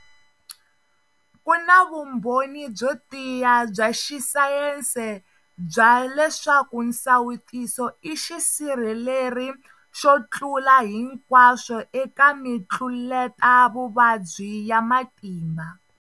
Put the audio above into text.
Ku na vumbhoni byo tiya bya xisayense bya leswaku nsawutiso i xisirheleri xo tlula hinkwaswo eka mitluletavuvabyi ya matimba.